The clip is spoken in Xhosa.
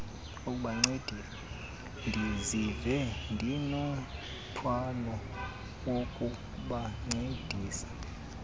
ndiziva ndinomthwalo wokubancedisa